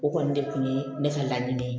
O kɔni de kun ye ne ka laɲini ye